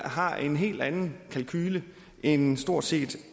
har en helt anden kalkule end stort set